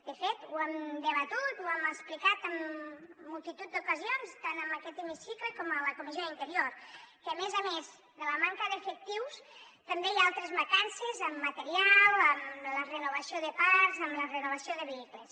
de fet ho hem debatut ho hem explicat en multitud d’ocasions tant en aquest hemicicle com a la comissió d’interior que a més a més de la manca d’efectius també hi ha altres mancances en material en la renovació de parcs en la renovació de vehicles